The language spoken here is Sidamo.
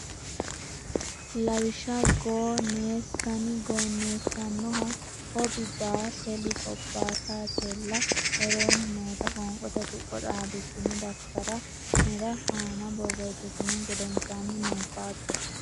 Lawishsha goo nees san gooneessannoha hob baa tel hobbaatetella Woroonni noota qoonqote tuqqo xaadissine daftari ne aana borreessitinihu gedensaanni nabbabbe.